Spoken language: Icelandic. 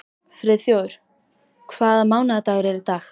Friðþjófur, hvaða mánaðardagur er í dag?